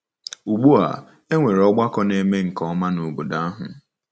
Ugbu a, e nwere ọgbakọ na-eme nke ọma n’obodo ahụ.